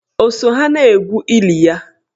O so ha na-egwu ili ya?